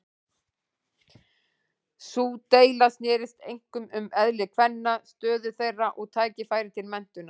Sú deila snerist einkum um eðli kvenna, stöðu þeirra og tækifæri til menntunar.